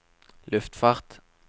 luftfart